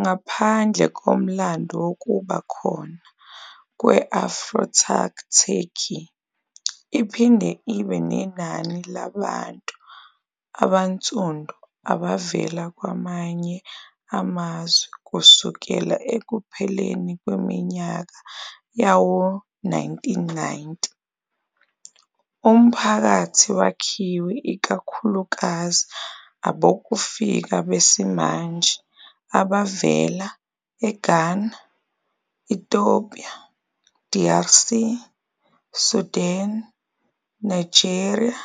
Ngaphandle komlando wokuba khona kwe-Afro-Turk Turkey iphinde ibe nenani labantu abansundu abavela kwamanye amazwe kusukela ekupheleni kweminyaka yawo-1990. Umphakathi wakhiwe ikakhulukazi abokufika besimanje abavela eGhana, Ethiopia, DRC, Sudan, Nigeria,